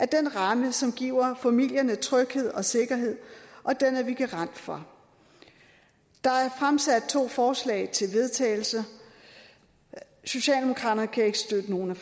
den ramme som giver familierne tryghed og sikkerhed og den er vi garant for der er fremsat to forslag til vedtagelser socialdemokraterne kan ikke støtte nogen